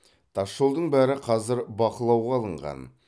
тасжолдың бәрі қазір бақылауға алынған